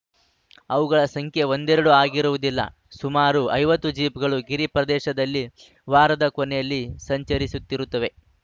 ಅವುಗಳ ಸಂಖ್ಯೆ ಒಂದೆಡೆರಡು ಆಗಿರುವುದಿಲ್ಲ ಸುಮಾರು ಐವತ್ತು ಜೀಪ್‌ಗಳು ಗಿರಿ ಪ್ರದೇಶದಲ್ಲಿ ವಾರದ ಕೊನೆಯಲ್ಲಿ ಸಂಚರಿಸುತ್ತಿರುತ್ತವೆ